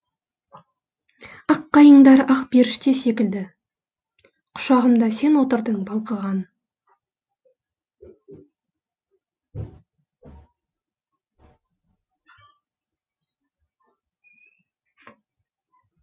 ақ қайыңдар ақ періште секілді құшағымда сен отырдың балқыған